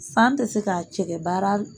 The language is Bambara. San tɛ se ka cɛkɛ baara